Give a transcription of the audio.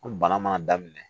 An bana mana daminɛ